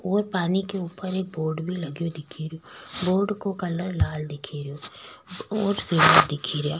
और पानी को ऊपर बोर्ड भी लगो दिख रो बोर्ड का कलर लाल दिख रो --